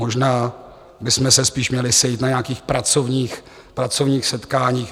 Možná bychom se spíše měli sejít na nějakých pracovních setkáních.